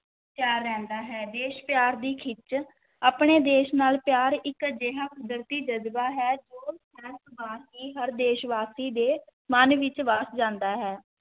ਤਿਆਰ ਰਹਿੰਦਾ ਹੈ, ਦੇਸ਼ ਪਿਆਰ ਦੀ ਖਿੱਚ, ਆਪਣੇ ਦੇਸ਼ ਨਾਲ ਪਿਆਰ ਇੱਕ ਅਜਿਹਾ ਕੁਦਰਤੀ ਜ਼ਜ਼ਬਾ ਹੈ ਜੋ ਸਹਿਜ-ਸੁਭਾਅ ਹੀ ਹਰ ਦੇਸ਼ਵਾਸੀ ਦੇ ਮਨ ਵਿੱਚ ਵੱਸ ਜਾਂਦਾ ਹੈ।